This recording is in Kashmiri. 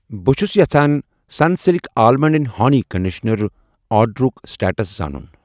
بہٕ چھس یژھان Sunsilk almond and honey conditioner آرڈرُک سٹیٹس زانُن؟